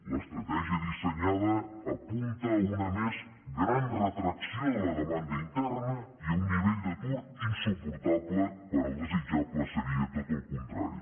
l’estratègia dissenyada apunta a una més gran retracció de la demanda interna i a un nivell d’atur insuportable quan el desitjable seria tot el contrari